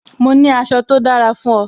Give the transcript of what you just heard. Mo ní aṣọ tó dára fún o